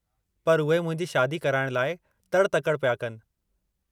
पर उहे मुंहिंजी शादी कराइणु लाइ तड़ि-तकड़ि पिया कनि।